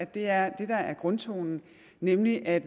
der er grundtonen nemlig at